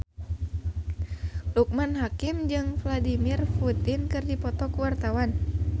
Loekman Hakim jeung Vladimir Putin keur dipoto ku wartawan